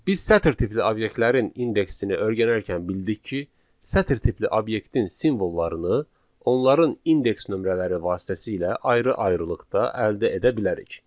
Biz sətr tipli obyektlərin indeksini öyrənərkən bildik ki, sətr tipli obyektin simvollarını onların indeks nömrələri vasitəsilə ayrı-ayrılıqda əldə edə bilərik.